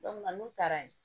n'u taara ye